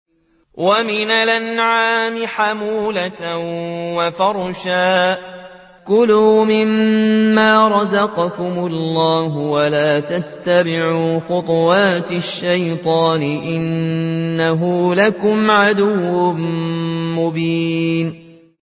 وَمِنَ الْأَنْعَامِ حَمُولَةً وَفَرْشًا ۚ كُلُوا مِمَّا رَزَقَكُمُ اللَّهُ وَلَا تَتَّبِعُوا خُطُوَاتِ الشَّيْطَانِ ۚ إِنَّهُ لَكُمْ عَدُوٌّ مُّبِينٌ